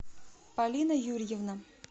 полина юрьевна